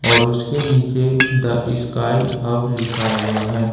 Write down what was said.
और उसके नीचे द स्काई हब लिखा हुआ है।